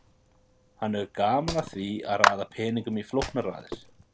Hann hefur gaman af því að raða peningum í flóknar raðir.